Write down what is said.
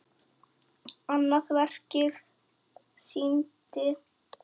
Annað verkið sýndi